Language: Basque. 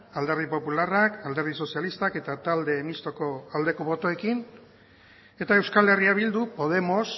alderdi popularrak alderdi sozialistak eta talde mistoko aldeko botoekin eta euskal herria bildu podemos